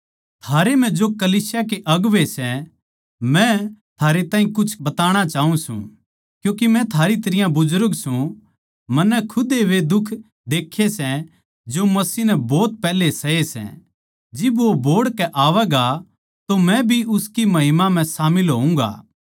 थारै म्ह जो कलीसिया के अगुवें सै मै थारे ताहीं कुछ बताणा चाऊँ सूं क्यूँके मै थारी तरियां बुजुर्ग सूं मन्नै खुद वे दुख देक्खे सै जो मसीह नै भोत पैहले सहे सै जिब वो बोहड़ के आवैगा तो मै भी उसकी महिमा म्ह शामिल होऊँगा